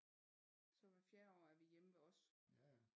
Så hvert fjerde år er vi hjemme ved os